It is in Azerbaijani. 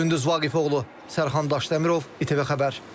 Gündüz Vaqifoğlu, Sərxan Daşdəmirov, ITV Xəbər.